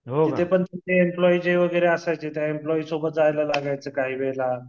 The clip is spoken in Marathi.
तिथे पण जे एम्प्लॉई वगैरे असायचे, त्या एम्प्लॉई सोबत जायला लागायचं काही वेळेला.